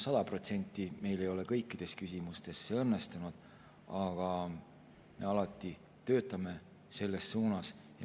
Sada protsenti ei ole see meil kõikides küsimustes õnnestunud, aga me alati töötame selles suunas.